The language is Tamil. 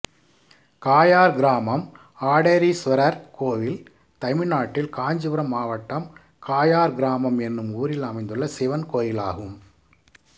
காயார் கிராமம் ஆடேரீஸ்வரர் கோயில் தமிழ்நாட்டில் காஞ்சிபுரம் மாவட்டம் காயார் கிராமம் என்னும் ஊரில் அமைந்துள்ள சிவன் கோயிலாகும்